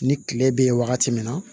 Ni kile bɛ ye wagati min na